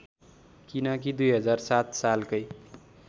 किनकि २००७ सालकै